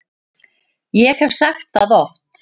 Ég hef sagt það oft.